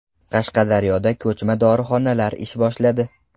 Qashqadaryoda ko‘chma dorixonalar ish boshladi.